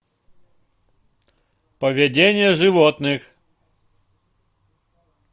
поведение животных